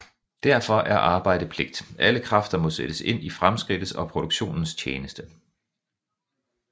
Derfor er arbejde pligt Alle kræfter må sættes ind i fremskridtets og produktionens tjeneste